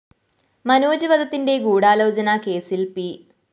മനോജ് വധത്തിന്റെ ഗൂഢാലോചന കേസില്‍ പി